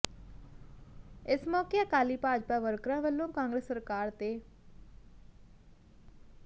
ਇਸ ਮੌਕੇ ਅਕਾਲੀ ਭਾਜਪਾ ਵਰਕਰਾਂ ਵੱਲੋਂ ਕਾਂਗਰਸ ਸਰਕਾਰ ਤੇ ਪ੍